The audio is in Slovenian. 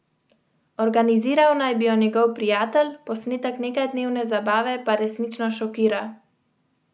Organiziral naj bi jo njegov prijatelj, posnetek nekaj dnevne zabave pa resnično šokira.